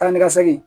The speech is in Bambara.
Taa ni ka segin